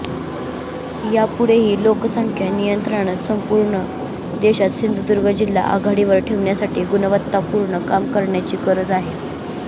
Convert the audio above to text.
यापुढेही लोकसंख्या नियंत्रणात संपूर्ण देशात सिंधुदुर्ग जिल्हा आघाडीवर ठेवण्यासाठी गुणवत्तापूर्ण काम करण्याची गरज आहे